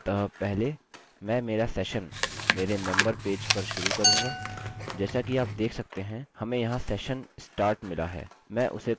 अतः पहले मैं मेरा session मेरे member पेज पर शुरू करूँगा जैसा कि आप देख सकते हैं हमें यहाँ session_start मिला है